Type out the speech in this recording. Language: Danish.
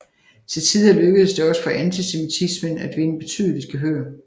Til tider lykkedes det også for antisemitismen at vinde betydeligt gehør